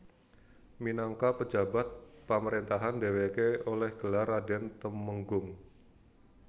Minagka pejabat pamrentahan dheweke oleh gelar raden tumenggung